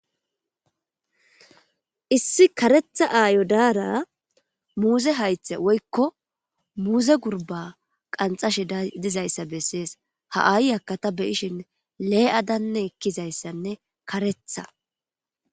issi karetha aayo daara muuze haythe woykko muuze gurba qanxashe dizayssa bessees ha aayaka ta beyishin lee7adanne ekkizayssanne karetha